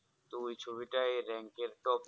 তো ওই ছবিটির rank এর top